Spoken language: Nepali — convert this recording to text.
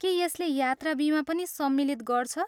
के यसले यात्रा बिमा पनि सम्मिलित गर्छ?